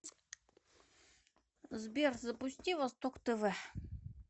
сбер запусти восток тв